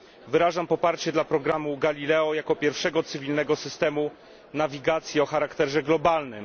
Wyrażam poparcie dla programu Galileo jako pierwszego cywilnego systemu nawigacji o charakterze globalnym.